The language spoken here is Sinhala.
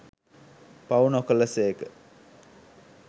පව් නොකළ සේක.